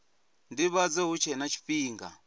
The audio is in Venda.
ndivhadzo hu tshe na tshifhinga